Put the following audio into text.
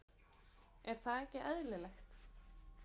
Er það ekki eðlilegt?